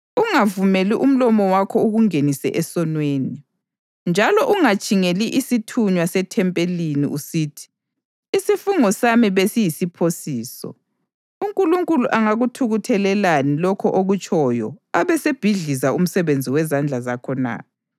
Ungavumeli umlomo wakho ukungenise esonweni. Njalo ungatshingeli isithunywa sethempelini usithi, “Isifungo sami besiyisiphosiso.” UNkulunkulu angakuthukuthelelani lokho okutshoyo abesebhidliza umsebenzi wezandla zakho na?